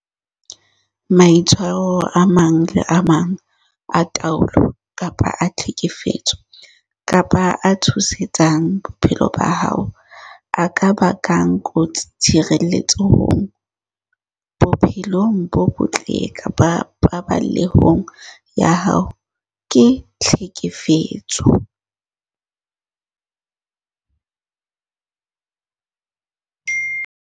Maitshwaro a mang le a mang a taolo kapa a tlhekefetso kapa a tshosetsang bophelo ba hao a ka bakang kotsi tshireletsehong, bophelong bo botle kapa paballehong ya hao ke tlhekefetso.